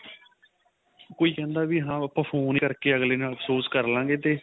ਕੋਈ ਕਹਿੰਦਾ ਵੀ ਹਾਂ ਆਪਾਂ phone ਕਰ ਕੇ ਅਗਲੇ ਨਾਲ ਅਫਸੋਸ ਕਰ ਲਾ ਗਏ ਤੇ